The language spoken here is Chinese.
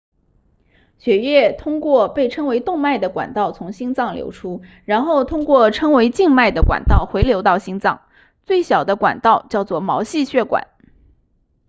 血液通过被称为动脉的管道从心脏流出然后通过称为静脉的管道回流到心脏最小的管道叫做毛细血管